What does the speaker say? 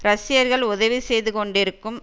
ரஷ்யர்கள் உதவி செய்து கொண்டிருக்கும்